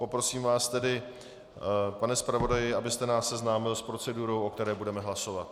Poprosím vás tedy, pane zpravodaji, abyste nás seznámil s procedurou, o které budeme hlasovat.